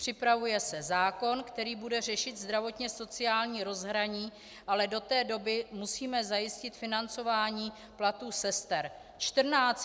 Připravuje se zákon, který bude řešit zdravotně-sociální rozhraní, ale do té doby musíme zajistit financování platů sester.